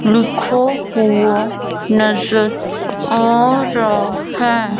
लिखो हुआ नजर आ रहा है।